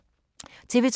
TV 2